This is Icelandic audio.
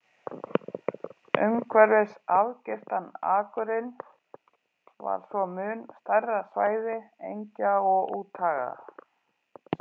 Umhverfis afgirtan akurinn var svo mun stærra svæði engja og úthaga.